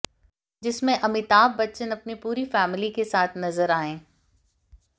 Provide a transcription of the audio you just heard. जिसमें अमिताभ बच्चन अपनी पूरी फैमिली के साथ नजर आएं